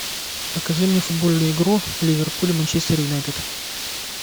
покажи мне футбольную игру ливерпуль манчестер юнайтед